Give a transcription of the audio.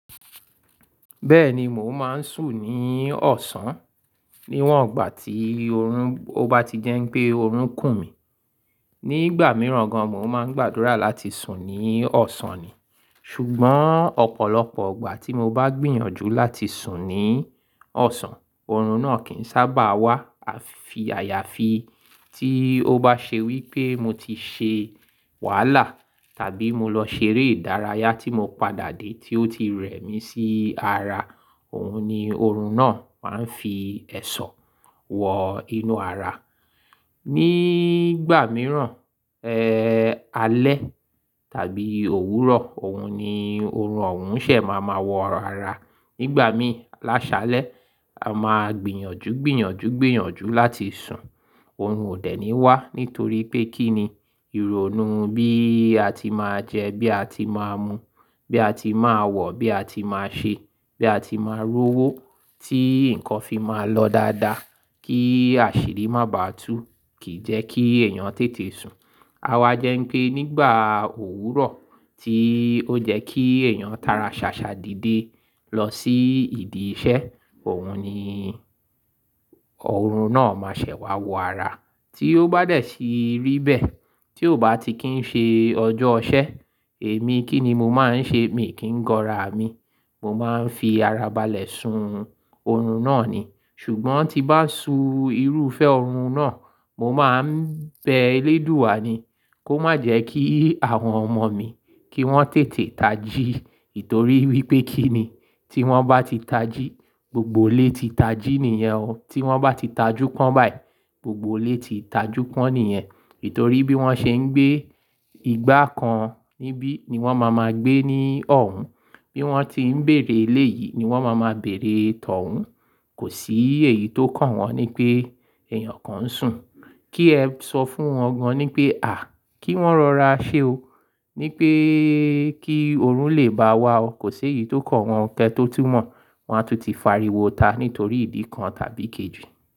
Bẹ́ẹ̀ni mò ń máa ń sùn ní ọ̀sán, níwọn ìgbà tí oorun bá ti jẹ́ pé oorun kù mí. Ni ìgbà mìíràn gan mò ń máa ń gbàdúrà láti sùn ní ọ̀sán ni. Ṣùgbọ́n ọ̀pọ̀lọpọ̀ ìgbà tí mo bá gbìyànjú láti sùn ní ọ̀sán, oorun náà kì ń sábà wá. Àfi àyàfi tí ó bá ṣe wí pé mo ti ṣe wàhálà tàbí mo lọ ṣeré ìdárayá tí mo padà dé tí ó ti rẹ́ mi sí ara, òun ni oorun náà máa ń fi ẹ̀ṣọ́ wọ inú ara. Ni ìgbà mìíràn, ẹ́, alẹ́ tàbí òwúrọ̀, òun ni oorun òun ṣẹ̀ máa máa wọ ara. Ni ìgbà mí láṣalẹ̀, a máa gbìyànjú, gbìyànjú, gbìyànjú láti sùn, oorun ò dẹ́ni wá nítorí pé kí ni ìrònú bí a ti máa jẹ, bí a ti máa mu, bí a ti máa wọ̀, bí a ti máa ṣe, bí a ti máa rówó tí nǹkan fi máa lọ dáadáa kí àṣírí má bàá tú kìí jẹ́ kí èèyàn tètè sùn. Awa jẹ́ pé nígbà òwúrọ̀ tí ó jẹ́ kí èèyàn tara ṣàṣà dìde lọ sí ìdí iṣẹ́, òun ni oorun náà máa ṣẹ̀ wá wọ ara tí ó bá dẹ̀ sí rí bẹ́ẹ̀ tí ò bá ti kí ń ṣe ọjọ́ iṣẹ́. Èmi kí ni mo máa ń ṣe? Mi kì í gorá mi. Mo máa ń fi ara balẹ̀ sun oorun náà ni. Ṣùgbọ́n tí bá su irúfẹ́ oorun náà, mo máa ń bẹ eléèdúà ni kó má jẹ́ kí àwọn ọmọ mi kí wọ́n tètè tají. Nítorí wí pé kí ni tí wọ́n bá ti tají, gbogbo ilé ti tají nìyẹn o. Tí wọ́n bá ti tajú pọ́n báyìí, gbogbo ilé ti tajú pọ́n nìyẹn. Nítorí bí wọ́n ṣe ń gbé ìgbà kan níbí ni wọ́n máa ma gbé ní ọ̀hún. Bí wọ́n ti ń bèèrè ilé yìí ni wọ́n máa ma bèèrè tọ̀hún. Kò sí èyí tó kàn wọ́n ní pé èèyàn kan ń sùn. Kí ẹ sọ fún wọn gan ní pé à, kí wọ́n rọra ṣe o. Ní pé kí oorun lè bá a wá o. Kò sí èyí tó kàn wọ́n kẹ́tó tun mo, wọ́n á tún ti fariwo ta nítorí ìdí kan tàbí kejì.